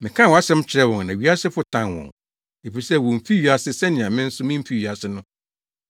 Mekaa wʼasɛm kyerɛɛ wɔn na wiasefo tan wɔn, efisɛ womfi wiase sɛnea me nso mimfi wiase no.